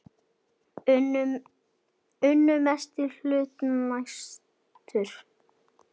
Unnu mestan hluta nætur.